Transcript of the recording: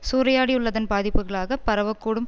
சூறையாடியுள்ளதின் பாதிப்புக்களாகப் பரவக் கூடும்